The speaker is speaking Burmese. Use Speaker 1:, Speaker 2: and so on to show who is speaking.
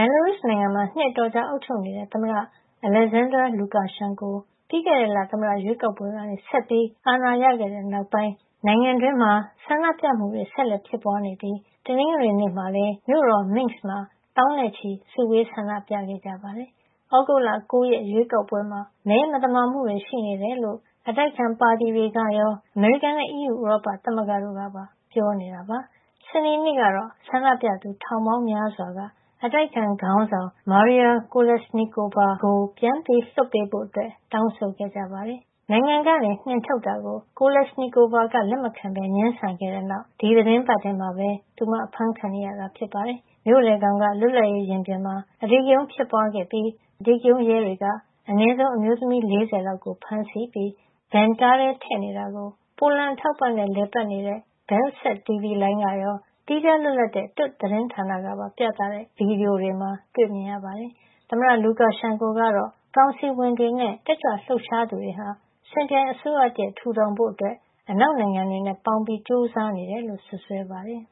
Speaker 1: ယ်လာရုစ်နိုင်ငံမှာ နှစ်အတော်ကြာ အုပ်ချုပ်နေတဲ့ သမ္မတ Alexander Lukashenko ပြီးခဲ့တဲ့လ သမ္မတရွေးကောက်ပွဲကနေ ဆက်ပြီး အာဏာရခဲ့တဲ့နောက်ပိုင်း ဆန္ဒပြမှုတွေ ဆက်လက်ဖြစ်ပွားနေပြီး တနင်္ဂနွေနေ့မှာလည်း မြို့တော် Minsk မှာ သောင်းနဲ့ချီ စုဝေး ဆန္ဒပြခဲ့ကြပါတယ်။ သြဂုတ်လ ၉ ရက် ရွေးကောက်ပွဲမှာ မဲမသမာမှုတွေ ရှိနေတယ်လို့ အတိုက်အခံပါတီတွေကရော အမေရိကန်နဲ့ အီးယူ ဥရောပသမဂ္ဂတို့ကပါ ပြောကြားနေတာပါ။ စနေနေ့ကတော့ ဆန္ဒပြသူ ထောင်ပေါင်းများစွာက အတိုက်အခံခေါင်းဆောင် Maria Kolesnikova ကို ပြန်လွှတ်ပေးဖို့ တောင်းဆိုခဲ့ကြပါတယ်။ နိုင်ငံကနေ နှင်ထုတ်တာကို Kolesnikova က လက်မခံဘဲ ငြင်းဆန်ခဲ့တဲ့နောက် ဒီသီတင်းပတ်ထဲမှာပဲ သူမ အဖမ်းခံနေရတာ ဖြစ်ပါတယ်။ မြို့လယ်ခေါင်က လွတ်လပ်ရေးရင်ပြင်မှာ အဓိကရုဏ်းဖြစ်ပွားခဲ့ပြီး နှာခေါင်းစည်းတပ်ထားတဲ့ အဓိကရုဏ်းရဲတွေက အနည်းဆုံး အမျိုးသမီး ၄၀ လောက်ကို ဖမ်းဆီးပြီး Van ကားထဲ ထည့်နေတာကို ပိုလန်အထောက်အပံ့နဲ့ လည်ပတ်နေတဲ့ Belsat တီဗွီလိုင်းကရော သီးခြားလွတ်လပ်တဲ့ Tut သတင်းဌာနကပါ ပြသတဲ့ ဗွီဒီယိုမှာ တွေ့မြင်ကြရပါတယ်။ သမ္မတ Lukashenko ကတော့ သြဂုတ်လ ၉ ရက် ရွေးကောက်ပွဲမှာ မဲမသမာမှုတွေရှိတယ် ဆိုတာကို လက်မခံဘဲ ကောင်စီဝင်တွေနဲ့ တက်ကြွလှုပ်ရှားသူတွေဟာ စင်ပြိုင်အစိုးရတရပ် ထူထောင်ဖို့ အနောက်နိုင်ငံတွေနဲ့ ပေါင်းပြီး ကြိုးစားနေတယ်လို့ စွပ်စွဲပါတယ်။